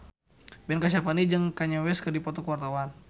Ben Kasyafani jeung Kanye West keur dipoto ku wartawan